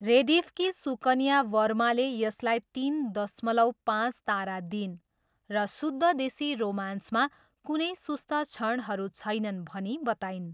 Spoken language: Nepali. रेडिफकी सुकन्या वर्माले यसलाई तिन दशमलव पाँच तारा दिइन् र शुद्ध देशी रोमान्समा कुनै सुस्त क्षणहरू छैनन् भनी बताइन्।